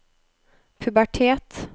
pubertet